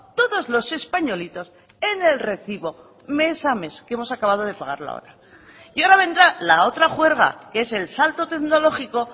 todos los españolitos en el recibo mes a mes que hemos acabado de pagarlo ahora y ahora vendrá la otra juerga que es el salto tecnológico